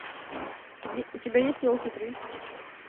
у тебя есть елки три